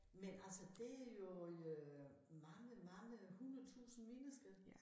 Men altså det jo øh mange mange 100 tusind mennesker